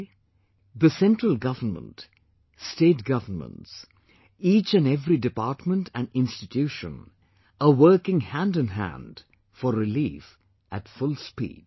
Today, the Central Government, State Governments; each and every department and institution are working hand in hand for relief at full speed